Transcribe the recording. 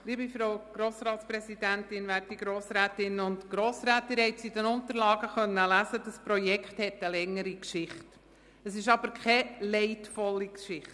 Wie Sie in den Unterlagen lesen können, hat dieses Projekt eine längere, nicht aber leidvolle Geschichte.